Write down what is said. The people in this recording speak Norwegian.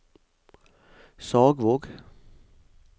Sagvåg